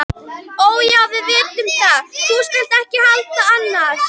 Ó, já, við vitum það, þú skalt ekki halda annað.